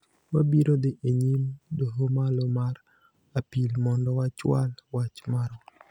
Wabiro dhi e nyim Doho Malo mar Apil mondo wachwal wach marwa